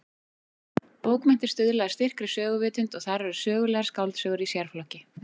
Bókmenntir stuðla að styrkri söguvitund og þar eru sögulegar skáldsögur í sérflokki.